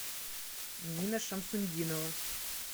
дина шамсутдинова